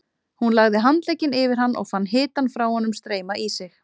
Hún lagði handlegginn yfir hann og fann hitann frá honum streyma í sig.